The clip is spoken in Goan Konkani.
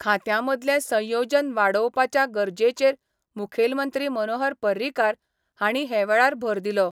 खांत्यांमदलें संयोजन वाडोवपाच्या गरजेचेर मुखेलमंत्री मनोहर पर्रीकार हांणी हेवेळार भर दिलो.